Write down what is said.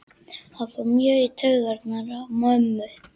Það fór mjög í taugarnar á mömmu.